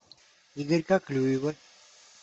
игорька клюева